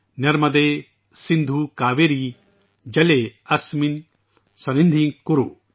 نرمدے سندھو کاویری جلے اسمن سنیدھم کورو